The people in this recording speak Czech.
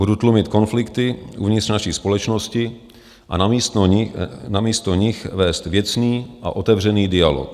Budu tlumit konflikty uvnitř naší společnosti a namísto nich vést věcný a otevřený dialog.